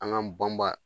An ŋ'an banbaa